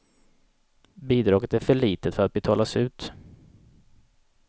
Bidraget är för litet för att betalas ut.